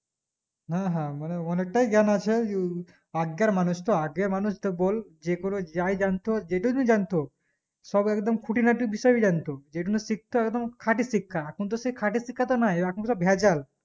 হ্যাঁ হ্যাঁ মানে অনিকটাই জ্ঞান আছে যে আগেকার মানুষতো আগে মানুষ তো বল যেকোনো যাই জানতো যে টুকুই জানতো সব একদম খুঁটিনাটি বিষয়ই জানতো যেটুকুনা শিক্ত একদম খাঁটি শিক্ষা এখন তো সেই খাঁটি শিক্ষা তো নাই এখন কার ভেজাল